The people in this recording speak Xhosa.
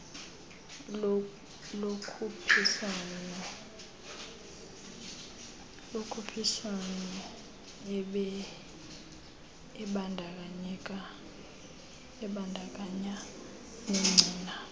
lokhuphiswano ebandakanya negcina